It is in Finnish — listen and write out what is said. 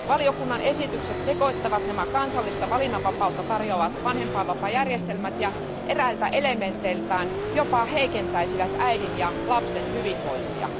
Valiokunnan esitykset sekoittavat nämä kansallista valinnanvapautta tarjoavat vanhempainvapaajärjestelmät ja eräiltä elementeiltään jopa heikentäisivät äidin ja lapsen hyvinvointia.